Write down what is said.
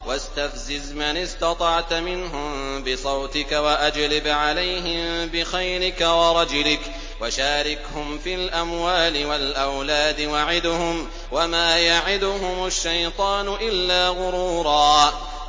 وَاسْتَفْزِزْ مَنِ اسْتَطَعْتَ مِنْهُم بِصَوْتِكَ وَأَجْلِبْ عَلَيْهِم بِخَيْلِكَ وَرَجِلِكَ وَشَارِكْهُمْ فِي الْأَمْوَالِ وَالْأَوْلَادِ وَعِدْهُمْ ۚ وَمَا يَعِدُهُمُ الشَّيْطَانُ إِلَّا غُرُورًا